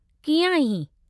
कीअं आहीं?